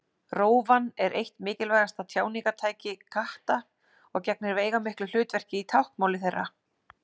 Rófan er eitt mikilvægasta tjáningartæki katta og gegnir veigamiklu hlutverki í táknmáli þeirra.